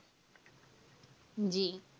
জী.